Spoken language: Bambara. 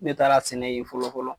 Ne taara sɛnɛ yen fɔlɔ-fɔlɔ